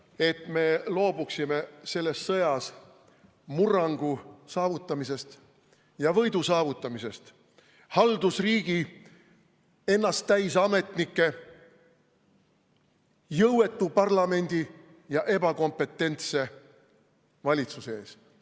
... et me loobuksime selles sõjas murrangu saavutamisest ja võidu saavutamisest haldusriigi ennasttäis ametnike, jõuetu parlamendi ja ebakompetentse valitsuse ees.